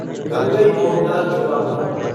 Gangaikonda Cholapuram